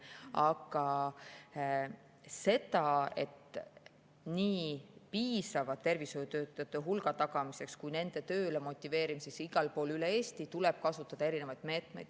Aga nii piisava tervishoiutöötajate hulga tagamiseks kui ka nende tööle motiveerimiseks igal pool üle Eesti tuleb kasutada erinevaid meetmeid.